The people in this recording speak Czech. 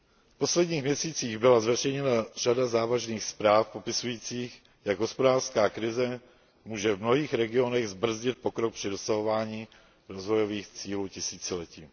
V posledních měsících byla zveřejněna řada závažných zpráv popisujících, jak hospodářská krize může v mnohých regionech zbrzdit pokrok při dosahování rozvojových cílů tisíciletí.